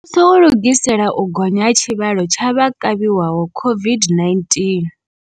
Muvhuso u lugisela u gonya ha tshivhalo tsha vha kavhiwaho COVID-19.